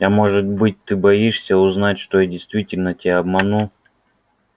а может быть ты боишься узнать что я действительно тебя обманул